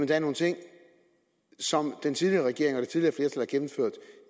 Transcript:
der er nogle ting som den tidligere regering og